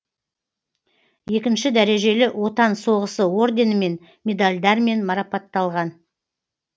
екінші дәрежелі отан соғысы орденімен медальдармен марапатталған